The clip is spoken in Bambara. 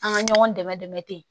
An ka ɲɔgɔn dɛmɛ dɛmɛ ten